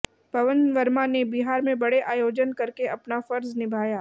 पवन वर्मा ने बिहार में बड़े आयोजन करके अपना फर्ज निभाया